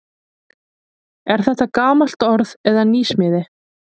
Er þetta gamalt orð eða nýsmíði?